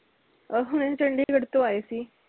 ਅਹ ਹੁਣੇ ਚੰਡੀਗੜ੍ਹ ਤੋਂ ਆਏ ਸੀ